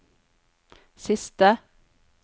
siste